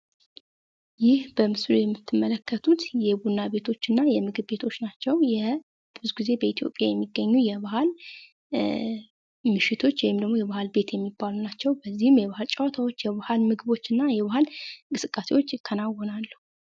ይህ በምስሉ የምትመለከቱት የቡና ቤቶችና የምግብ ቤቶች ናቸው ።ብዙውን ጊዜ በኢትዮጵያ የሚገኙ የባህል ምሽቶች ወይም የባህል ቤት የሚባሉ ናቸው ።በዚህም የባህል ጭዋታዎች፤ ምግቦችና የባህል እንቅስቃሴዎች ይከናወናሉ።